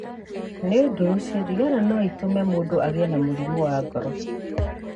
Nĩ ũndũ ũcio, thigara no ĩtũme mũndũ agĩe na mũrimũ wa ngoro.